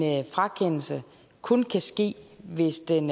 en frakendelse kun kan ske hvis den